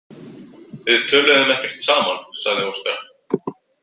Við töluðum ekkert saman, sagði Óskar.